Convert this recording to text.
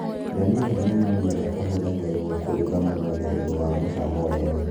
Ndania nĩ mĩmera ĩhũthagĩrwo kuruga mũno nĩ ũndũ wa mũcamo wega